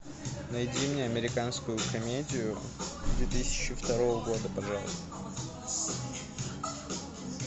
найди мне американскую комедию две тысячи второго года пожалуйста